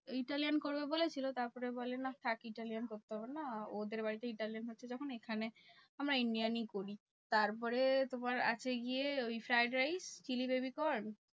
Italian করবে বলেছিলো তারপরে বলে নাহ থাকে brownie করতে হবে না ওদের বাড়িতে brownie হচ্ছে যখন, এখানে আমরা Indian ই করি। তারপরে তোমার আছে গিয়ে ওই fried rice chilli baby corn